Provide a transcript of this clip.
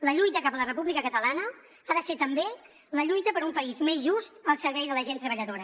la lluita cap a la república catalana ha de ser també la lluita per un país més just al servei de la gent treballadora